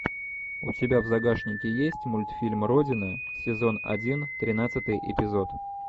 у тебя в загашнике есть мультфильм родина сезон один тринадцатый эпизод